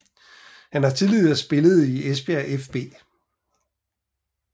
Han har tidligere spillet i Esbjerg fB